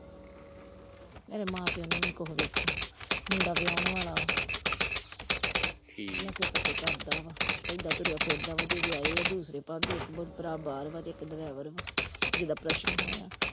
ਮੇਰੇ ਮਾਂ ਪਿਓ ਨੇ ਵੀ ਨਹੀਂ ਕੁਛ ਵੇਖਿਆ, ਮੁੰਡਾ ਵਿਆਹੁਣ ਵਾਲਾ ਵਾ ਠੀਕ, ਨਸ਼ੇ ਪੱਤੇ ਕਰਦਾ ਵਾ ਏਦਾਂ ਤੁਰਿਆ ਫਿਰਦਾ ਵਾ ਜੇ ਵਿਆਹੇ ਆ ਦੂਸਰੇ ਭਾਬੀ ਇੱਕ ਭਰਾ ਬਾਹਰ ਵਾ ਤੇ ਇੱਕ ਡਰਾਈਵਰ ਵਾ ਜਿਹਦਾ operation ਹੋਇਆ।